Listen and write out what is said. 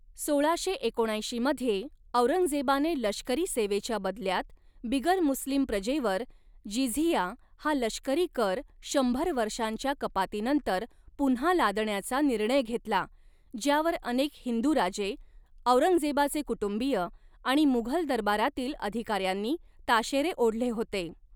सोळाशे एकोणऐंशी मध्ये औरंगजेबाने लष्करी सेवेच्या बदल्यात बिगर मुस्लिम प्रजेवर जिझिया हा लष्करी कर शंभर वर्षांच्या कपातीनंतर पुन्हा लादण्याचा निर्णय घेतला, ज्यावर अनेक हिंदू राजे, औरंगजेबाचे कुटुंबीय आणि मुघल दरबारातील अधिकाऱ्यांनी ताशेरे ओढले होते.